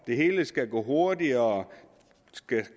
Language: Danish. det hele skal gå hurtigere